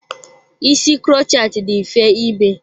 Ísì krochet dị mfe ime.